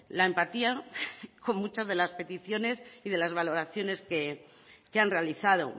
la empatía con muchas de las peticiones y de las valoraciones que han realizado